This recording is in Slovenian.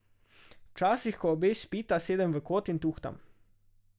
Včasih, ko obe spita, sedem v kot in tuhtam.